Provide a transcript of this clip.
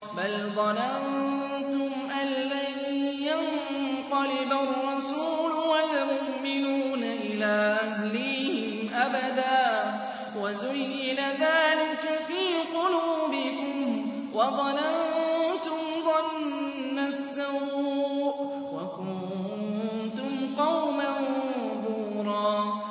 بَلْ ظَنَنتُمْ أَن لَّن يَنقَلِبَ الرَّسُولُ وَالْمُؤْمِنُونَ إِلَىٰ أَهْلِيهِمْ أَبَدًا وَزُيِّنَ ذَٰلِكَ فِي قُلُوبِكُمْ وَظَنَنتُمْ ظَنَّ السَّوْءِ وَكُنتُمْ قَوْمًا بُورًا